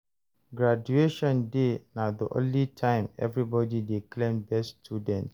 Graduation day na the only time everybody dey claim best student.